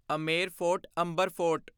Amer fort Amber fort